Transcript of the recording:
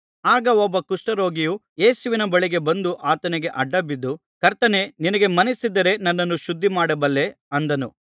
ಆಗ ಒಬ್ಬ ಕುಷ್ಠರೋಗಿಯು ಯೇಸುವಿನ ಬಳಿಗೆ ಬಂದು ಆತನಿಗೆ ಅಡ್ಡಬಿದ್ದು ಕರ್ತನೇ ನಿನಗೆ ಮನಸ್ಸಿದ್ದರೆ ನನ್ನನ್ನು ಶುದ್ಧಮಾಡಬಲ್ಲೆ ಅಂದನು